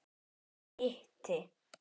Ég hitti